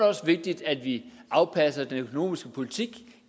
også vigtigt at vi afpasser den økonomiske politik